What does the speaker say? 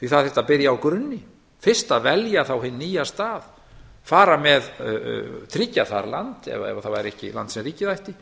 því það þyrfti að byrja á grunni fyrst að velja þá hinn nýja stað fara með tryggja þar land ef að það væri ekki land sem ríkið ætti